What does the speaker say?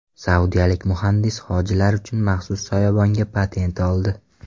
Saudiyalik muhandis hojilar uchun maxsus soyabonga patent oldi.